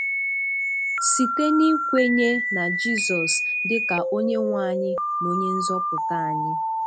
Site n'ikwenye na Jizọs dịka Onyenwe anyị na Onyenzọpụta anyị.